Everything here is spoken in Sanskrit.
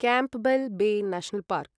Campbell Bay National park